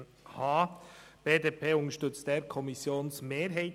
Die BDP unterstützt die Kommissionsmehrheit.